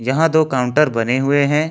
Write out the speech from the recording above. यहां दो काउंटर बने हुए हैं।